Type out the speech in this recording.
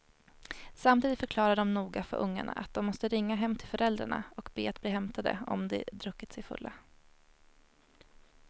Samtidigt förklarade de noga för ungarna att de måste ringa hem till föräldrarna och be att bli hämtade om de druckit sig fulla.